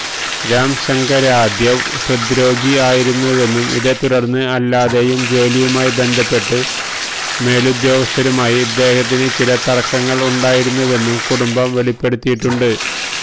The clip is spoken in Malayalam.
രാംശങ്കര്യാദവ് ഹൃദ്രോഗി ആയിരുന്നുവെന്നും ഇതേ തുടര്ന്നും അല്ലാതെയും ജോലിയുമായി ബന്ധപ്പെട്ട് മേലുദ്യോഗസ്ഥരുമായി ഇദ്ദേഹത്തിന് ചില തര്ക്കങ്ങള് ഉണ്ടായിരുന്നുവെന്നും കുടുംബം വെളിപ്പെടുത്തിയിട്ടുണ്ട്